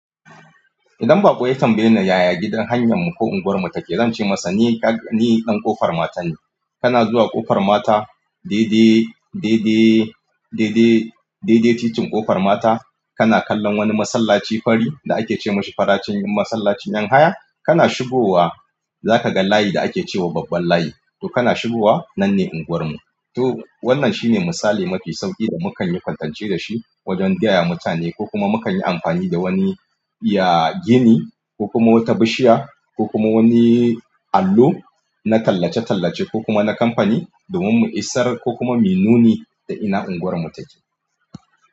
Idan baƙo ya tambaye ni, yaya gidan hanyar mu ko unguwar mu take, zan ce masa ni, ni ɗan ƙofar mata ne. Kana zuwa ƙofar mata daidai, daidai, daidai, daidai titin ƙofar mata kana kallon wani masallaci fari da ake ce masa faracin masallacin ƴan haya. Kana shigowa zaka ga layi da ake ce wa babban layi to kana shigowa nan ne unguwar mu. To wannan shine misali mafi sauƙi da mukan yi kwatance da shi wajen gaya mutane ko kuma mukan yi amfani da wani ya gini ko kuma wata bishiya ko kuma wani allo na tallace-tallace ko kuma na kamfani domin mu isar ko kuma mu nuni da ina unguwar mu take.